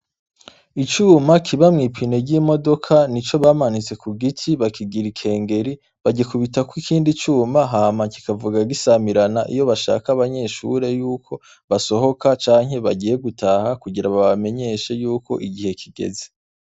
Icuma kiba mwipini ry'imodoka ni co bamanitse ku giti bakigira ikengeri baikubitako ikindi cuma hama kikavuga gisamirana iyo bashaka abanyeshure yuko basohoka canke bagiye gutaha kugira babamenyeshe yuko igihe kigeze.